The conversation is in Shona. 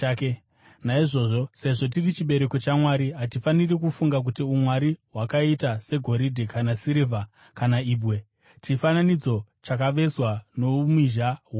“Naizvozvo sezvo tiri chibereko chaMwari, hatifaniri kufunga kuti umwari hwakaita segoridhe kana sirivha kana ibwe, chifananidzo chakavezwa noumhizha hwomunhu.